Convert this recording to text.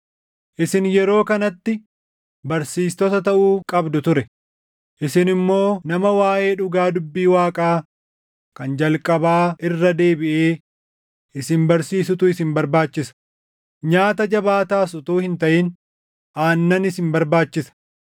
Isin yeroo kanatti barsiistota taʼuu qabdu ture; isin immoo nama waaʼee dhugaa dubbii Waaqaa kan jalqabaa irra deebiʼee isin barsiisutu isin barbaachisa. Nyaata jabaataas utuu hin taʼin aannan isin barbaachisa.